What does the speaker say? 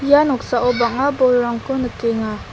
ia noksao bang·a bolrangko nikenga.